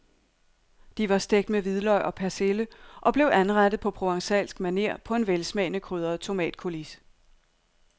De var stegt med hvidløg og persille og blev anrettet på provencalsk maner på en velsmagende krydret tomatcoulis.